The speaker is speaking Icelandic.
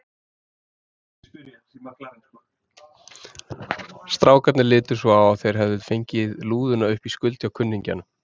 Strákarnir litu svo á að þeir hefðu fengið lúðuna upp í skuld hjá kunningjanum.